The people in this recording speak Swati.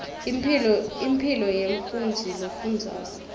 impilo yemfundzi lofundzako